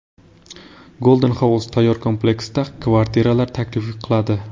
Golden House tayyor kompleksda kvartiralar taklif qiladi.